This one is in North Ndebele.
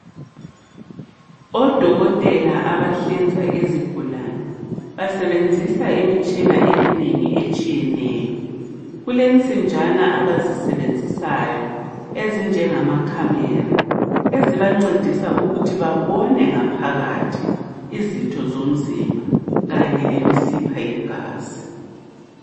Odokotela abahlinza uzigulane. Basebenzisa imitshina eminengi etshiyeneyo. Kulensinjana abazisebenzisayo ezinjengamacamera, Ezibancedisa ukuthi babone ngaphakathi, izitho zomzimba kanye lemisipha yegazi.